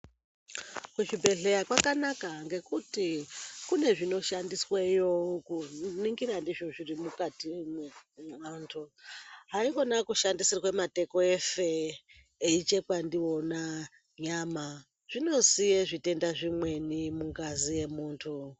Muzvibhedhleya kwakanaka ngekuti kune zvinoshandisweyo kuningira ndizvo zvirimukati meantu .Haikona kushandisirwa mateko eife eichekwa ndiona nyama zvinosiye zvitenda zvimweni mungazi yemundu.